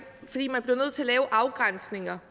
man bliver nødt til at lave afgrænsninger